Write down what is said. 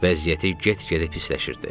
Vəziyyəti get-gedə pisləşirdi.